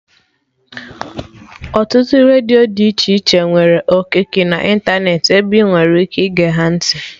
Ọtụtụ redio dị iche iche nwere okiki na ịntanetị ebe ị nwere ike ige ha ntị